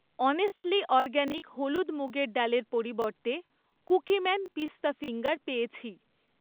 Honestly organic হলুদ মুগের ডালের পরিবর্তে কুকিম্যান পিস্তা ফিঙ্গার পেয়েছি।